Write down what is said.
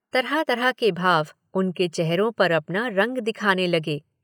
तरह तरह के भाव उनके चेहरों पर अपना रंग दिखाने लगे।